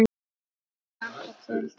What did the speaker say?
Ég hlakka til þess.